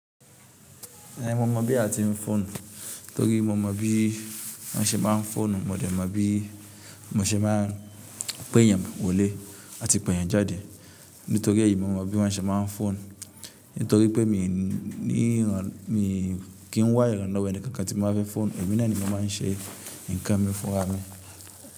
Èè mo mọ bí a tí n fónu, torí mo mọ bí wọn ṣe máa n fónu, mo dẹ̀ mọ bí wọn ṣe máa pèyàn wọlé àti pèyàn jáde nítorí èyí ni mo mọ bí wọn ṣé máa n fónu. Nítorí pé mo kí n wá iranlọ́wọ́ ẹnìkankan tí báa fe fóònù, èmi náà ni mo máa ń ṣe é, nǹkan mi fúnra mi.